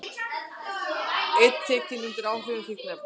Einn tekinn undir áhrifum fíkniefna